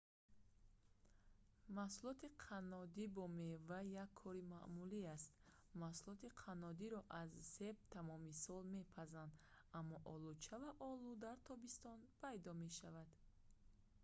маҳсулоти қаннодӣ бо мева як кори маъмулӣ аст маҳсулоти қаннодиро аз себ тамоми сол мепазанд аммо олуча ва олу дар тобистон пайдо мешаванд